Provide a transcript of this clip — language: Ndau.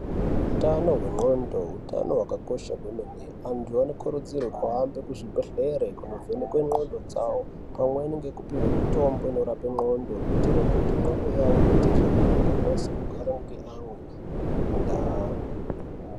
Hutano hwendxqondo utano hwakakosha kwemene. Antu anokurudzirwa kuhambe kuzvibhedhlera kundovhenekwa ngqondo dzawo pamweni nekupuwa mitombo inorapa ngqondo kuitira kuti ngqondo yawo iite zvakanaka akwanise kugara neamwe mundaa.